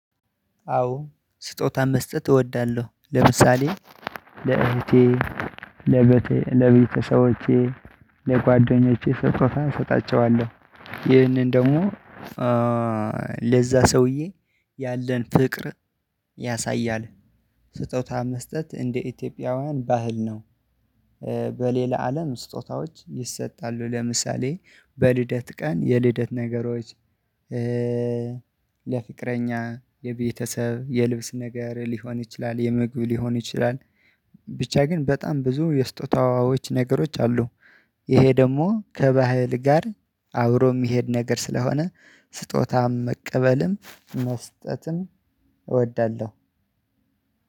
አዎ ስጦታን መስጠት እወዳለሁ። ለምሳሌ ለእህቴ ለቤተ ሰቦቼ ለጓደኞቼ ሰጦታን እሰጣቸዋለሁ ይህንን ደግሞ ሰውዬ ያለን ፍቅር ያሳያል። ስጦታ መስጠት እንደ ኢትዮጵያውያን ባህል ነው። በሌላ አለም ስጦታዎች ይሰጣሉ ለምሳሌ በልደት ቀን የልደት ነገሮች። ለፍቅረኛ የቤተሰብ የልብስ ነገር ሊሆን ይችላል የምግብ ሊሆን ይችላል። ብቻ ግን በጣም ብዙ የስጦታዎች ነገሮች አሉ። ይሄ ደግሞ ከባህል ጋር አብሮ የሚሄድ ነገር ስለሆነ ስጦታም መቀበልም መስጠትም እወዳለሁ።